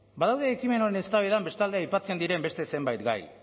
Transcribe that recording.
badaude ekimen honen eztabaidan bestalde aipatzen diren beste zenbait gai